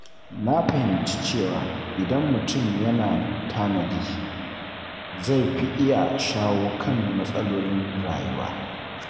Na fahimci cewa idan mutum yana tanadi, zai fi iya shawo kan matsalolin rayuwa.